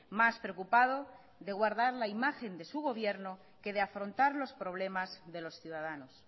más preocupado de guardar la imagen de su gobierno que de afrontar los problemas de los ciudadanos